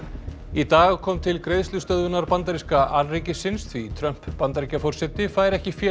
í dag kom til greiðslustöðvunar bandaríska alríkisins því Trump Bandaríkjaforseti fær ekki fé